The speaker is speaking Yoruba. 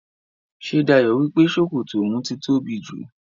Ṣé Dayọ̀ wípé sókótó oun ti tóbi jù?